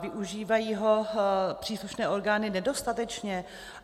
Využívají ho příslušné orgány nedostatečně?